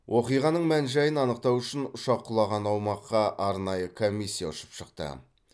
оқиғаның мән жайын анықтау үшін ұшақ құлаған аумаққа арнайы комиссия ұшып шықты